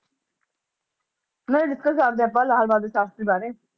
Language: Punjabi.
ਮੈਂ ਕਿਹਾ discuss ਕਰਦੇ ਆ ਆਪਾਂ ਲਾਲ ਬਹਾਦਰ ਸ਼ਾਸਤਰੀ ਬਾਰੇ